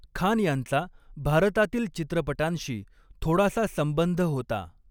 खान यांचा भारतातील चित्रपटांशी थोडासा संबंध होता.